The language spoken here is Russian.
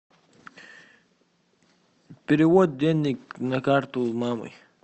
перевод денег на карту мамы